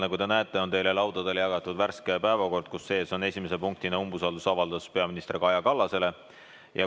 Nagu te näete, on teie laudadele jagatud värske päevakord, milles on esimese punktina kirjas umbusalduse avaldamine peaminister Kaja Kallasele.